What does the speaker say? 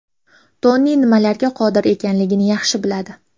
Toni nimalarga qodir ekanligini yaxshi biladi.